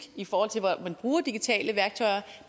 i forhold til hvor man bruger digitale værktøjer